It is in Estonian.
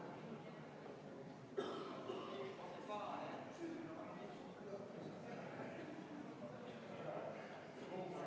Aitäh, ma palun teha ka kohaloleku kontroll!